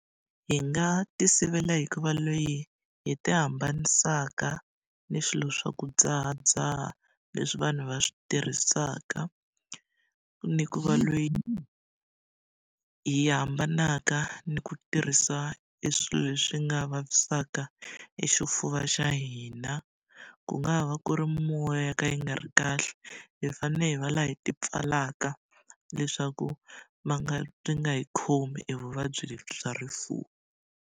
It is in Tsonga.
Hi nga tisivela hikuva loyi hi ti hambanisaka ni swilo swa ku dzahadzaha, leswi vanhu va swi tirhisaka. Ni hikuva loyi hi hambanaka ni ku tirhisa eswilo leswi nga vavisaka exifuva xa hina. Ku nga ha va ku ri mimoya yo ka yi nga ri kahle, hi fanele hi va lava hi tipfalaka, leswaku ma nga byi nga hi khomi evuvabyi lebyi bya rifuva.